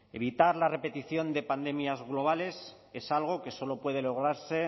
evitar la repetición de pandemias globales es algo que solo puede lograrse